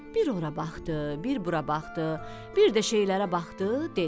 Bir ora baxdı, bir bura baxdı, bir də şeylərə baxdı, dedi: